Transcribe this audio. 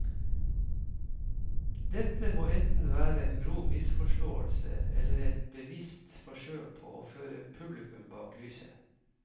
Dette må enten være en grov misforståelse eller et bevisst forsøk på å føre publikum bak lyset.